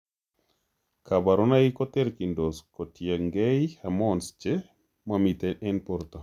Kaborunoik koterchindos kotiengei hormones che momiten en borto